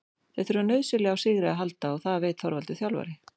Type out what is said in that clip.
Þeir þurfa nauðsynlega á sigri að halda og það veit Þorvaldur þjálfari.